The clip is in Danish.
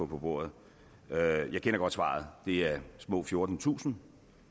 på bordet jeg kender godt svaret det er små fjortentusind